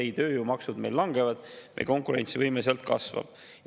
Ei, tööjõumaksud meil langevad, meie konkurentsivõime sealt kasvab.